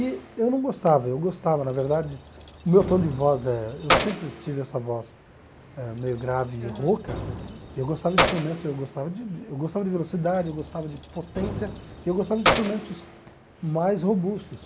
E eu não gostava, eu gostava, na verdade, o meu tom de voz eh, eu sempre tive essa voz eh meio grave e rouca, e eu gostava de instrumentos, eu gostava de de eu gostava de velocidade, eu gostava de potência, e eu gostava de instrumentos mais robustos.